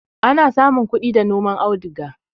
Ana samun kudi da noman auduga